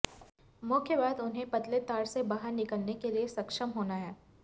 मुख्य बात उन्हें पतले तार से बाहर निकलने के लिए सक्षम होना है